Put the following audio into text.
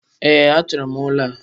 Ee, a chọọrọ m ụlọ a.